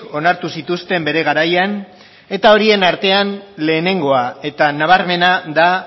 onartu zituzten bere garaian eta horien artean lehenengoa eta nabarmena da